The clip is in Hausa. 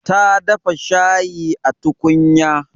Ta dafa shayi a tukunya.